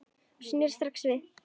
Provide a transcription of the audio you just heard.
Ég sneri strax við.